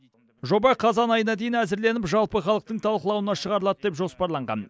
жоба қазан айына дейін әзірленіп жалпы халықтың талқылауына шығарылады деп жоспарланған